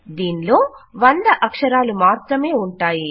దీనిలో 100 అక్షరాలు మాత్రమే ఉంటాయి